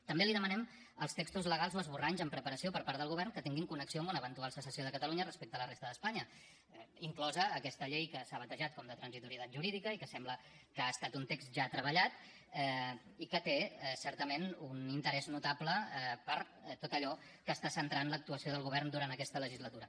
també li demanem els textos legals o esborranys en preparació per part del govern que tinguin connexió amb una eventual secessió de catalunya respecte a la resta d’espanya inclosa aquesta llei que s’ha batejat com de transitorietat jurídica i que sembla que ha estat un text ja treballat i que té certament un interès notable per tot allò que està centrant l’actuació del govern durant aquesta legislatura